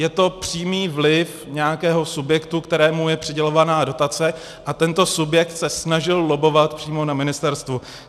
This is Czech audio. Je to přímý vliv nějakého subjektu, kterému je přidělována dotace, a tento subjekt se snažil lobbovat přímo na ministerstvu.